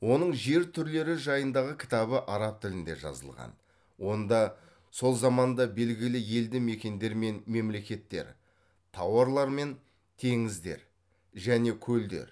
оның жер түрлері жайындағы кітабы араб тілінде жазылған онда сол заманда белгілі елді мекендер мен мемлекеттер таулар мен теңіздер және көлдер